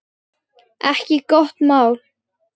Ekki gott mál.